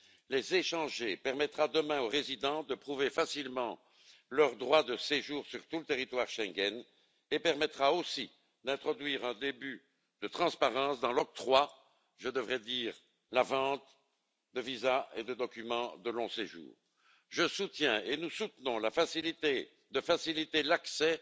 Les échanger permettra demain aux résidents de prouver facilement leur droit de séjour sur tout le territoire Schengen et d'introduire en outre un début de transparence dans l'octroi je devrais dire la vente de visas et de documents de long séjour. Je soutiens et nous soutenons l'idée de faciliter l'accès